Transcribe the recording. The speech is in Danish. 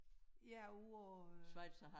Ja ude på øh